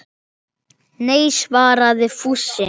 Nei svaraði Fúsi.